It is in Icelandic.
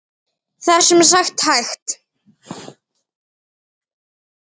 Það er sem sagt hægt.